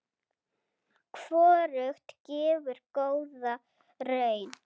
Hvorugt gefur góða raun.